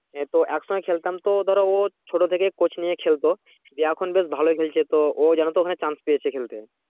এ তো একসঙ্গে খেলতাম তো ধরো ও ছোট থেকে coach নিয়ে খেলতো নিয়ে এখন ধরো দেখো এখন বেশ ভালোই খেলছে তো ও যেন তো ওখানে chance পেয়েছে খেলতে